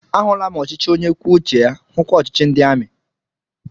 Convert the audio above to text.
Ahụla m ọchịchị onye kwuo uche ya, hukwa ọchịchị ndị amị